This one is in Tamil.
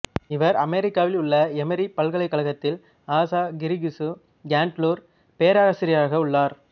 இவர் அமெரிக்காவில் உள்ள எமறி பல்கலைக்கழகத்தில் ஆசா கிரிகிசு கேண்டுலர் பேராசிரியராக உள்ளார்